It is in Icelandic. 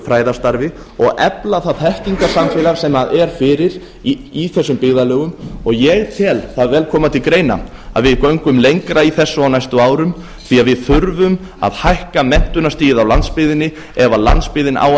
fræðastarfi og efla það þekkingarsamfélag sem er fyrir í þessum byggðarlögum og ég tel það vel koma til greina að við göngum lengra í þessu á næstu árum því að við þurfum að hækka menntunarstigið á landsbyggðinni ef landsbyggðin á